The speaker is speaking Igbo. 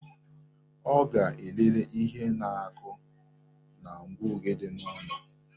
Ọ ga-elele ihe na-akụ na ngụoge dị n'ụlọ